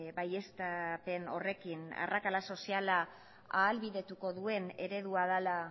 baieztapen horrekin arrakala soziala ahalbidetuko duen eredua dela